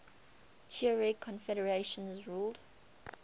tuareg confederations ruled